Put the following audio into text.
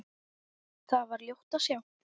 Þar var ljótt að sjá.